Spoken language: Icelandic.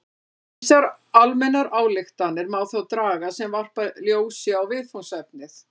Ýmsar almennar ályktanir má þó draga sem varpa ljósi á viðfangsefnið.